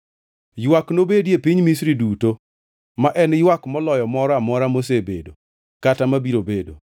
Ywak nobedie piny Misri duto, ma en ywak moloyo moro amora mosebedo kata mabiro bedo.